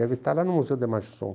Deve estar lá no Museu da Imagem do Som.